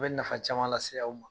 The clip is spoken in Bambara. A bi nafa caman lase aw ma